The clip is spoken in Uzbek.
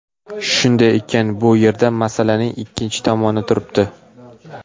Shunday ekan, bu yerda masalaning ikkinchi tomoni turibdi.